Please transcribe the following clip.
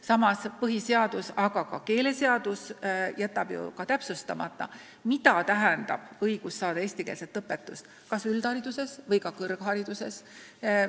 Samas jätab keeleseadus täpsustamata, kas õigus saada eestikeelset õpetust kehtib ainult üldhariduses või ka kõrghariduses.